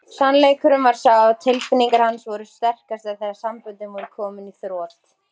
Sannleikurinn var sá að tilfinningar hans voru sterkastar þegar samböndin voru komin í þrot.